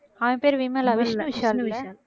அவன் பேரு விமலா விஷ்ணுவிஷால்ல